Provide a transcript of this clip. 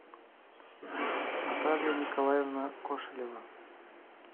наталья николаевна кошелева